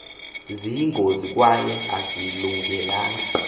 ziyingozi kwaye azilungelanga